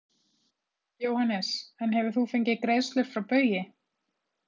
Jóhannes: En hefur þú fengið greiðslur frá Baugi?